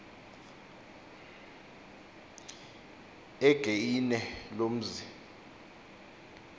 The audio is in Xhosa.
egeine lo mzi